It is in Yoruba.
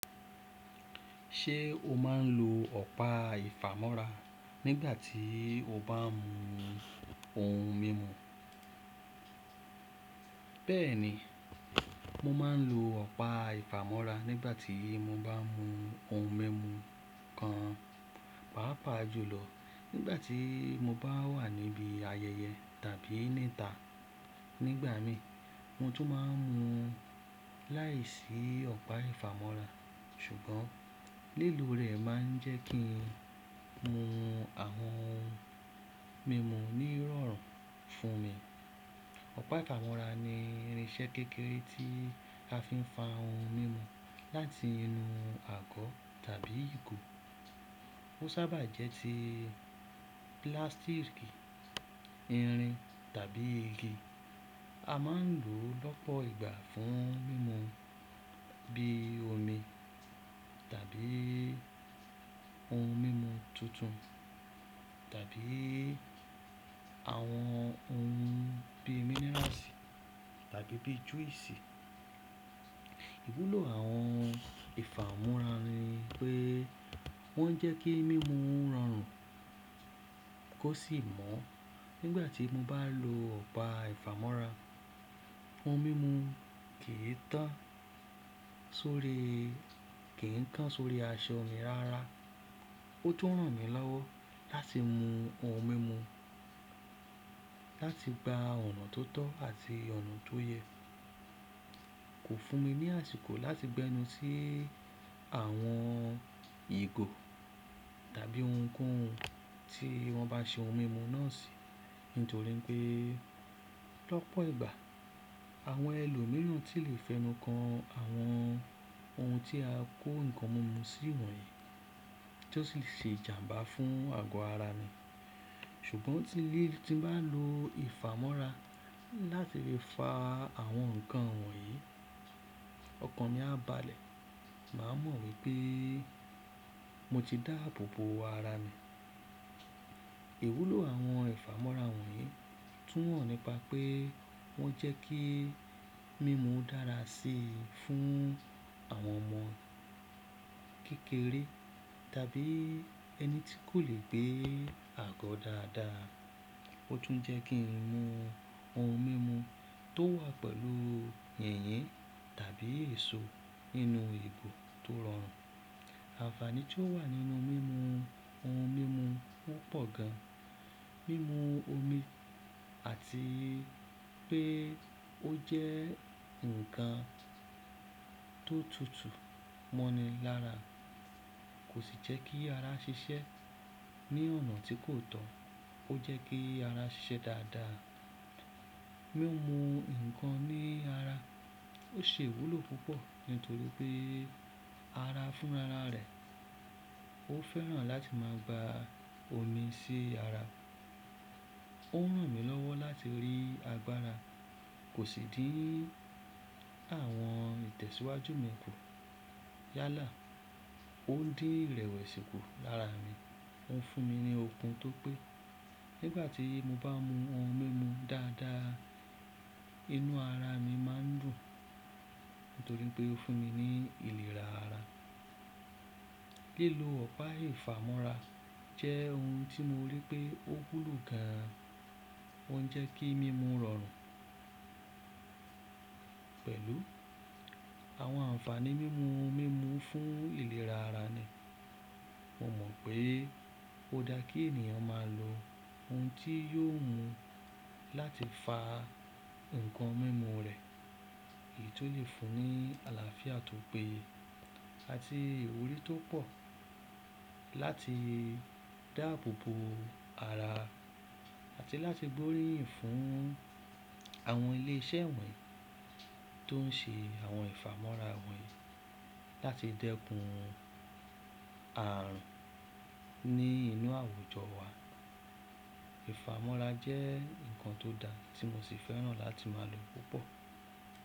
Ṣé o máa ń lo ọ̀pá ìfàmọ́ra nígbàtí o bá ń mu ohun mímu? Bẹ́ẹ̀ni, mo máa ń lo ọ̀pá ìfàmọ́ra nígbàtí mo bá ń mu ohun mímu kan pàápàá jùlọ nígbàtí mo bá wà níbí ayẹyẹ tàbí níta. Nígbà mii, mo tún máa ń mu láìsí ọ̀pá ìfàmọ́ra, ṣùgbọ́n lílo rẹ̀ máa ń jẹ́ kí n mu àwọn ohun mímu ní ìrọ̀rùn fún mi. Ọ̀pá ìfàmọ́ra ni irinṣẹ́ kékeré tí a fi ń fa ohun mímu láti inú àgọ́ tàbí ìgò. Ó sábà jẹ́ ti plastic, irin tàbí igi. A máa ń lò ó lọ́pọ̀ ìgbà fún mímu bí i omi tàbí ohun mímu tuntun tàbí àwọn ohun bí i mineral sí tàbí bíi juice. Ìwúlò àwọn ìfàmọ́ra ni pé wọ́n jẹ́ kí mímu rọrùn kó sì mọ́. Nígbàtí mo bá lo ọ̀pá ìfàmọ́ra, ohun mímu kì í tán sórí, kì í tán sórí aṣọ mi rara. Ó tún ràn mí lọ́wọ́ láti mu ohun mímu, láti gba ọ̀nà tó tọ́ àti ọ̀nà tó yẹ, kò fún mi ní àsìkò láti gbẹnu sí àwọn ìgò tàbí ohunkóhun tí wọ́n bá ṣe ohun mímu náà sí, nítorí pé lọ́pọ̀ ìgbà àwọn ẹlòmíràn sì lè fẹnu kan àwọn ohun tí a kó ǹkan mímu sí wọ̀nyí tí ó sì ṣe ìjàmbá fún àgọ́ ara mi, ṣùgbọ́n tílí tí mo bá lo ìfàmọ́ra láti fi fa àwọn ǹkan wọ̀nyí, ọkàn mi á balẹ̀ máa mọ̀ wípé mo ti dáàbò bo ara mi. Ìwúlò àwọn ìfàmọ́ra wọ̀nyí tún wọ́n nípa pé wọ́n jẹ́ kí mímu dára sí fún àwọn ọmọ kékeré tàbí ẹni tí kò lè gbé àgọ́ dáadáa. Ó tún jẹ́ kí n mu ohun mímu tó wà pẹ̀lú yìnyín tàbí èso inú ìgò tó rọrùn. Àǹfààní tí ó wà nínú mímu ohun mímu o pọ̀ gan, mímu omi àti pé ó jẹ́ ǹkan tó tutù mọ́ni lára kò sì jẹ́ kí ara ṣiṣẹ́ ní ọ̀nà tí kò tọ́, ó jẹ́ kí ara ṣiṣẹ́ dáadáa. Mí mu ǹkan ní ara ó ṣe ìwúlò púpọ̀ nítorí pé ara fúnra rà rẹ̀, ó fẹ́ràn láti máa gba omi sí ara. Ó ń ràn mí lọ́wọ́ láti rí agbára, kò sì dí àwọn ìtẹ̀síwájú mi kù. Yálà, ó dín ìrẹ̀wẹ̀sì kù lára mi. Ó ń fún mi ní okun tó pé. Nígbàtí mo bá mu ohun mímu dáadáa, inú ara mi má ń dùn nítorí pé ó fún mi ní ìlera ara. Lílo ọ̀pá ìfàmọ́ra jẹ́ ohun tí mo rí pé ó wu lo gan, ó ń jẹ́ kí mímu rọrùn pẹ̀lú àwọn àǹfààní mímu ohun mímu fún ìlera ara mi. Mo mọ̀ pé ó dáa kí ènìyàn máa lo ohun tí yóò mú un láti fa ǹkan mímu rẹ̀, èyí tó lè fún ní àlàáfíà tó pé àti ìwúrí tó pọ̀, láti dáàbò bo ara àti láti gbóríyìn fún àwọn ilé iṣẹ́ wọ̀nyí tó ń ṣe àwọn ìfàmọ́ra wọ̀nyí láti dẹ́kun ààrùn ní inú àwùjọ wa. Ìfàmọ́ra jẹ́ ǹkan tó da tí mo sì fẹ́ràn láti máa lò púpọ̀.